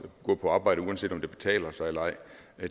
gå på arbejde uanset om det betaler sig eller ej